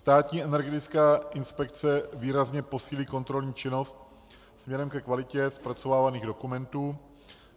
Státní energetická inspekce výrazně posílí kontrolní činnost směrem ke kvalitě zpracovávaných dokumentů,